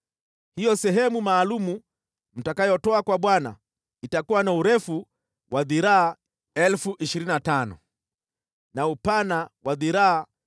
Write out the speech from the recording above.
“Hiyo sehemu maalum mtakayotoa kwa Bwana itakuwa na urefu wa dhiraa 25,000 na upana wa dhiraa 10,000